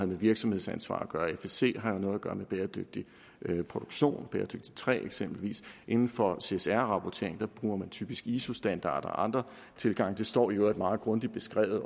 virksomhedsansvar at gøre fsc har jo noget at gøre med bæredygtig produktion bæredygtigt træ eksempelvis inden for csr rapportering bruger man typisk iso standarder og andre tilgange det står i øvrigt meget grundigt beskrevet i